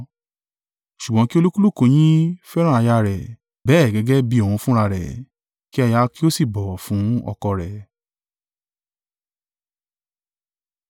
Ṣùgbọ́n kí olúkúlùkù yín fẹ́ràn aya rẹ̀, bẹ́ẹ̀ gẹ́gẹ́ bí òun fúnra rẹ̀; kí aya kí ó sì bọ̀wọ̀ fún ọkọ rẹ̀.